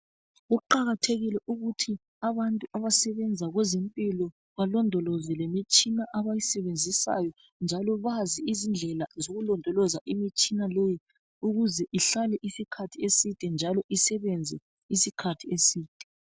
Kuqakathekile ukuthi abantu abasebenza kwezemphilo balondoloze imitshina abayisebenzisayo. Njalo bazi izindlela zokulondoloza imitshina leyi ukuze ihlale iskhathi eside njalo isebenze iskhathi eside.